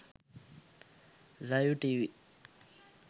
live tv